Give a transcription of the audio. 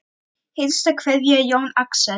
Hinsta kveðja Jón Axel.